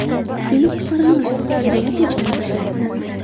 Seni qutqaramiz” deya tinchlantirdi.